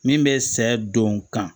Min bɛ sɛ don kan